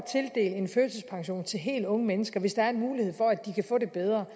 en førtidspension til helt unge mennesker hvis der er mulighed for at de kan få det bedre